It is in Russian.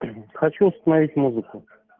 хочу установить музыку